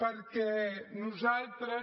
perquè nosaltres